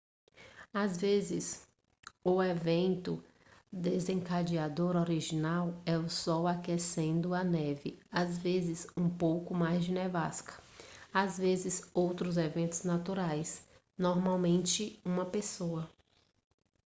às vezes o evento desencadeador original é o sol aquecendo a neve às vezes um pouco mais de nevasca às vezes outros eventos naturais normalmente uma pessoa